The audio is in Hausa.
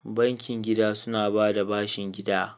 Bankin gida suna ba da bashin gida.